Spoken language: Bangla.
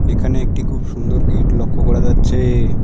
এখানে একটি খুব সুন্দর গেট লক্ষ্য করা যাচ্ছে।